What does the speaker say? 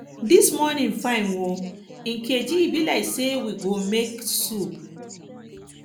dis morning fine oo nkechi e be like say we go make soup